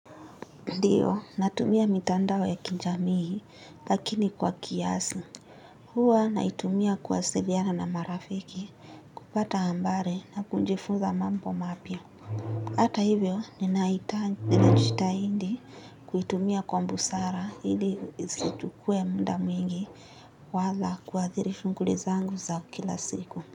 Ndiyo natumia mitandao ya kijamii lakini kwa kiasi huwa naitumia kuwasiliana na marafiki kupata habari na kujifunza mambo mapya ata hivyo ninajitahidi kuitumia kwa busara ili isichukuwe mda mwingi wala kuadhiri shughuli zangu za kila siku.